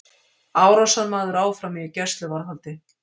Árásarmaður áfram í gæsluvarðhaldi